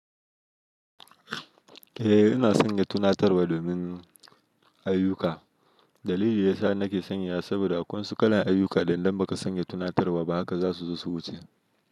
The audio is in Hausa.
Eh, ina sanya tunatarwa domin ayuka. Dalili yasa nake sanya saboda a kansu kalan ayuka idan baka sanya tunatarwa ba haka za su zo su wuce.